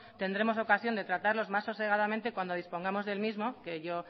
tendremos ocasión de tratarlos más sosegadamente cuando dispongamos del mismo que yo